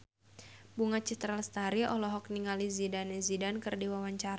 Bunga Citra Lestari olohok ningali Zidane Zidane keur diwawancara